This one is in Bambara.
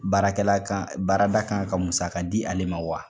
Baarakɛla kan baarada kan ka musaka di ale ma wa.